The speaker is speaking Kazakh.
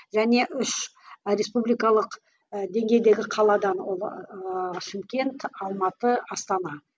және үш республикалық ы деңгейдегі қаладан ол ыыы шымкент алматы астана